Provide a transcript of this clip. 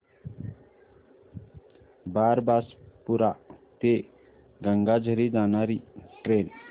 बारबासपुरा ते गंगाझरी जाणारी ट्रेन